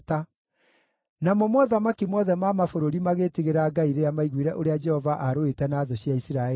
Namo mothamaki mothe ma mabũrũri magĩĩtigĩra Ngai rĩrĩa maiguire ũrĩa Jehova aarũĩte na thũ cia Isiraeli.